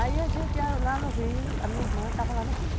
Aí a gente ia lá no rio, a minha irmã estava lá no rio.